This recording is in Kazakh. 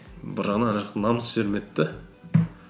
бір жағынан жаңағы намыс жібермеді де